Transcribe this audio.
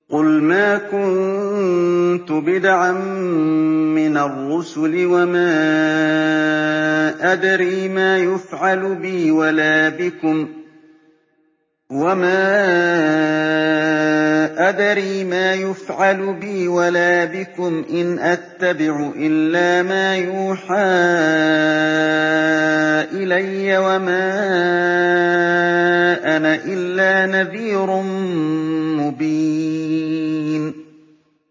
قُلْ مَا كُنتُ بِدْعًا مِّنَ الرُّسُلِ وَمَا أَدْرِي مَا يُفْعَلُ بِي وَلَا بِكُمْ ۖ إِنْ أَتَّبِعُ إِلَّا مَا يُوحَىٰ إِلَيَّ وَمَا أَنَا إِلَّا نَذِيرٌ مُّبِينٌ